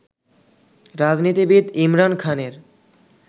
রাজনীতিবিদ ইমরান খানের